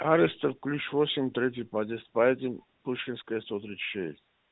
аристов ключ восемь третий подъезд поедим пушкинская сто тридцать шесть